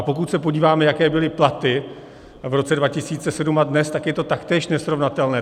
A pokud se podíváme, jaké byly platy v roce 2007 a dnes, tak je to taktéž nesrovnatelné.